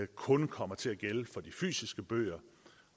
kun kommer til at gælde for de fysiske bøger